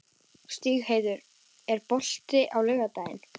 Stígheiður, er bolti á laugardaginn?